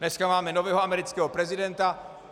Dneska máme nového amerického prezidenta.